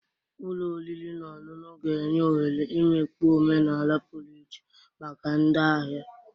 Ụlọ oriri na ọṅụṅụ ga-enye ohere imikpu omenala pụrụ iche maka ndị ahịa.